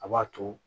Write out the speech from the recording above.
A b'a to